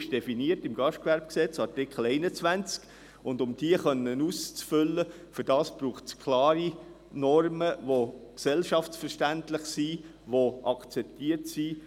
Diese ist in Artikel 21 GGG definiert, und um diese zu erfüllen, braucht es klare Normen, die gesellschaftsverständlich sind, die akzeptiert sind.